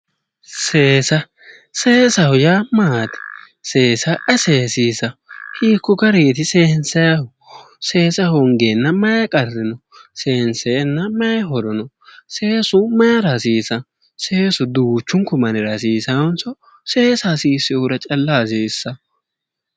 Seesa, seesaho yaa maati, seesa ayi seesisano ,hiikko garinniti seensannihu, seesa hongenna mayi qarri no, seensenna mayi horo no, seesu mayra hasiisano, seesu duuchunku mannira hasiisanonso seesa hasiisanohura calla hasiisano ?